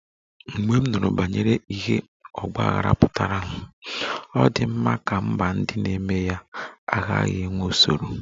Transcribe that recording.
Mgbe m nụrụ banyere ihe ọgba aghara pụtara, ọ dị m ka mba ndị na-eme ya agaghị enwe usoro